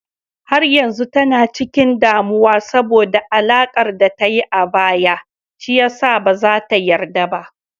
Har yanzu tana cikin damuwa saboda alakar da ta yi a baya, shi ya sa ba za ta yarda ba.